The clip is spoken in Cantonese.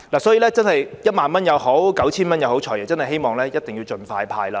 所以，不論是1萬元或 9,000 元，我們真的希望"財爺"能夠盡快派發。